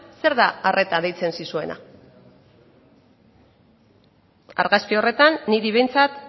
zer da arreta deitzen zizuena argazki horretan niri behintzat